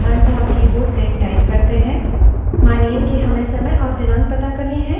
हम केवल keyboard से डेट type करते हैं और enter दबाते हैं